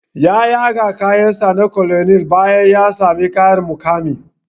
Ya yaga kayan sa na colonel bayan ya sami ƙarin muƙami